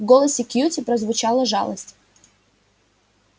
в голосе кьюти прозвучала жалость